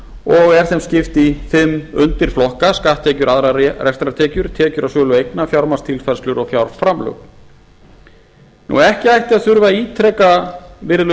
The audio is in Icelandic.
og er þeim skipt í fimm undirflokka skatttekjur aðrar rekstrartekjur tekjur af sölu eigna fjármagnstilfærslur og fjárframlög ekki ætti að þurfa að ítreka virðulegi